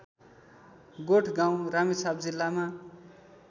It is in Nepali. गोठगाउँ रामेछाप जिल्लामा